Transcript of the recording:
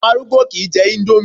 Àwọn arúgbó kìí jẹ índómì